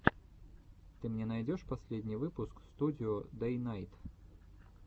ты мне найдешь последний выпуск студио дэйнайт